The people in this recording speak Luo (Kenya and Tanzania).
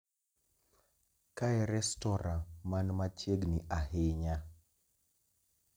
Kae restora man machiegni ahinya?